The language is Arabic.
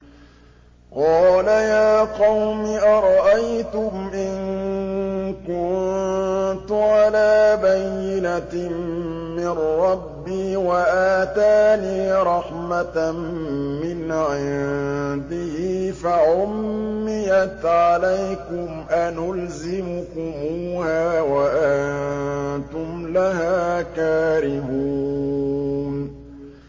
قَالَ يَا قَوْمِ أَرَأَيْتُمْ إِن كُنتُ عَلَىٰ بَيِّنَةٍ مِّن رَّبِّي وَآتَانِي رَحْمَةً مِّنْ عِندِهِ فَعُمِّيَتْ عَلَيْكُمْ أَنُلْزِمُكُمُوهَا وَأَنتُمْ لَهَا كَارِهُونَ